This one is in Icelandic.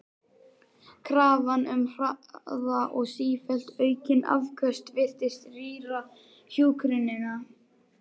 Krafan um hraða og sífellt aukin afköst virtist rýra hjúkrunina.